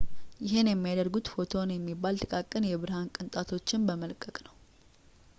ይህን የሚያደርጉት ፎቶን የሚባለውን ጥቃቅን የብርሃን ቅንጣትን በመለቀቅ ነው